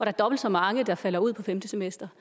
er dobbelt så mange der falder ud på femte semester